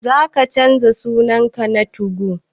Za ka canza sunan ka na 2go?